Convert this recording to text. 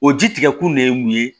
O ji tigɛ kun de ye mun ye